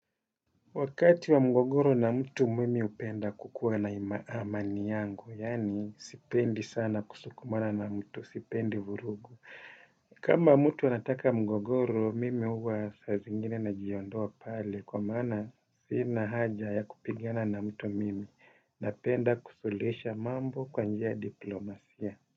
Wakati wa mgogoro na mtu mimi hupenda kukuwa na ima amani yangu, yaani sipendi sana kusukumana na mtu, sipendi vurugu. Kama mtu nataka mgogoro, mimi huwa saa zingine najiondoa pale, kwa maana sina haja ya kupigana na mtu mimi, napenda kusuluhisha mambo kwa njia ya diplomasia.